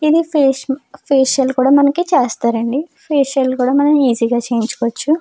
ఇది ఫేషియల్ చేస్తారండి ఫేషియల్ కూడా మనం ఈజీగా చేయించుకోవచ్చు.